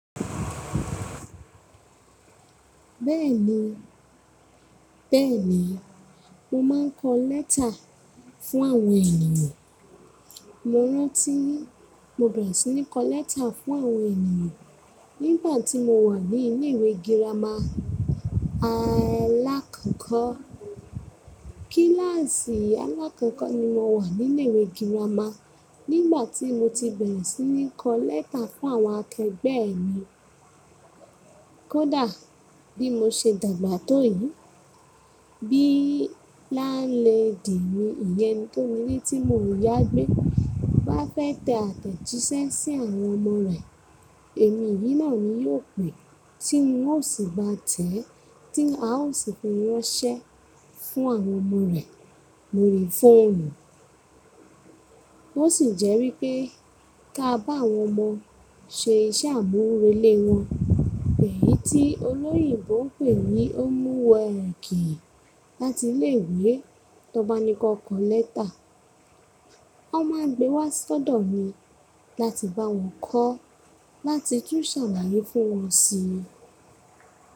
Bẹ́ẹ̀ni, bẹ́ẹ̀ni, mo máa ń kọ lẹ́tà fún àwọn ènìyàn. Mo rántí mo bẹ̀rẹ̀ sí ní kọ lẹ́tà fún àwọn ènìyàn nígbà tí mo wà ní ilé ìwé girama alákọ̀ọ́kọ́. Kíláàsì alákọ̀ọ́kọ́ ni mo wà ní ilé ìwé girama nígbà tí mo ti bẹ̀rẹ̀ sí ní kọ lẹ́tà fún àwọn akẹgbẹ́ mi. Kódà bí mo ṣe dàgbà tó yìí, bíi land lady mí ìyẹ́n eni tó nílé tí mo yágbe bá fẹ́ tẹ àtẹ̀jíṣẹ́ sí àwọn ọmọ rẹ̀, èmi yìí náà ni yóò pè tí ń ó sì bá tẹ́, tí a ó sì fi rán ṣẹ́ fún àwọn ọmọ rẹ̀. Lo rí foonu. Ó sì jẹ́ wípé ká bá àwọn ọmọ ṣe iṣẹ́ àmúrelé wọn, èyí tí olóyínbò ń pè ní homework láti ilé ìwé. Tọ́baní kan ko lẹ́tà, wọ́n máa gbé wá sọ́dọ̀ mi láti bá wọn kọ́, láti tún ṣàlàyé fún wọn síi.